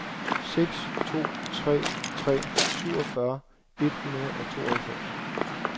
seks to tre tre syvogfyrre et hundrede og tooghalvfems